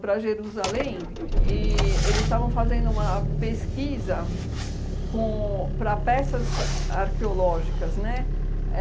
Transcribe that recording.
para Jerusalém, e eles estavam fazendo uma pesquisa com para peças arqueológicas, né?